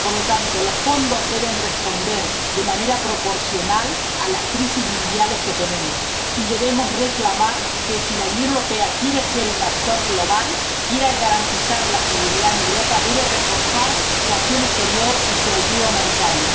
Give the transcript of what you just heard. Por lo tanto, los fondos deben responder de manera proporcional a las crisis mundiales que tenemos, y debemos reclamar que, si la Unión Europea quiere ser un actor global, quiere garantizar la seguridad en Europa, debe reforzar su acción exterior y su ayuda humanitaria.